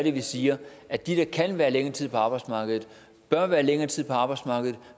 at vi siger at de der kan være længere tid på arbejdsmarkedet bør være længere tid på arbejdsmarkedet